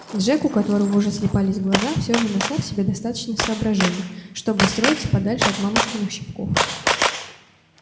джек у которого уже слипались глаза всё же нашёл в себе достаточно соображения чтобы устроиться подальше от мамушкиных щипков